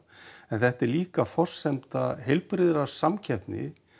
en þetta er líka forsenda heilbrigðar samkeppni